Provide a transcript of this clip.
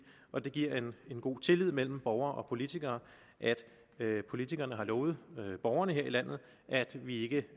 og det giver en god tillid mellem borger og politiker at politikerne har lovet borgerne her i landet at vi ikke